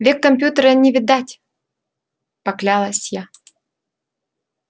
век компьютера не видать поклялась я